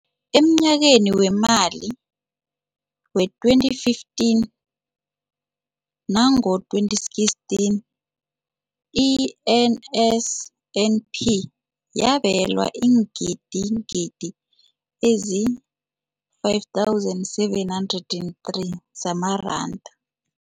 Emnyakeni weemali we-2015nango-2016, i-NSNP yabelwa iingidigidi ezi-5 703 zamaranda.